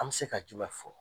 An bi se ka jumɛn fɔ?